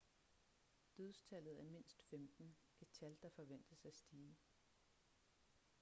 dødstallet er mindst 15 et tal der forventes at stige